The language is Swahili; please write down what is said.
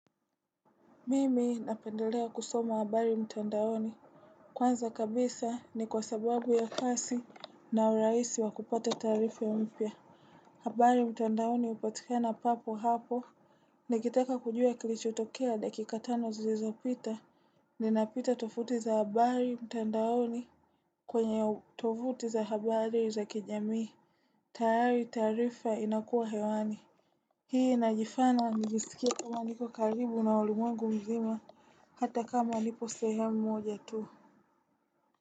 Mimi napendelea kusoma habari mtandaoni. Kwanza kabisa ni kwa sababu ya kasi na uraisi wa kupata tarifa mpya. Habari mtandaoni upatikana papo hapo. Nikitaka kujua kilicho tokea dakika tano zilizopita. Ninapita tofuti za habari mtandaoni kwenye tofuti za habari za kijamii. Tahari tarifa inakua hewani. Hii najifana njisikia kama niko karibu na ulimwengu mzima. Hata kama nipo sehemu mmoja tu.